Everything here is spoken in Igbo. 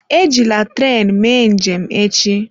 Ejila tren mee njem echi!